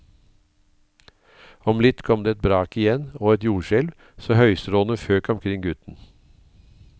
Om litt kom det et brak igjen, og et jordskjelv, så høystråene føk omkring gutten.